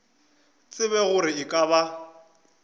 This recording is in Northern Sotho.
tsebe gore e ka ba